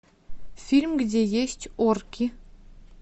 фильм где есть орки